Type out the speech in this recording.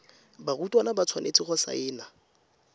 barutwana ba tshwanetse go saena